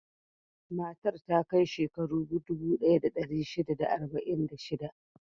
Matar ta kai shekaru dubu ɗaya da ɗari shida da arba'in da shida.